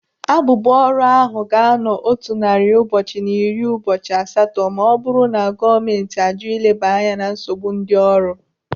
Abụbụ ọrụ ahụ ga-anọ otu narị ụbọchị na iri ụbọchị asatọ ma ọ bụrụ na gọọmenti ajụ ileba anya na nsogbu ndị ọrụ.